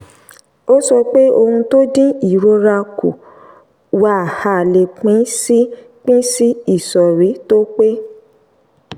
ó sọ pé ohun tó dín ìrora kù wà a le pin sí pin sí ìsọ̀ri tó pé.